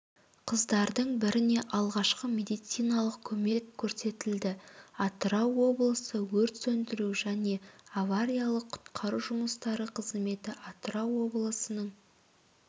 қыздардың біріне алғашқы медициналық көмек көрсетілді атырау облысы өрт сөндіру және авариялық-құтқару жұмыстары қызметі атырау облысының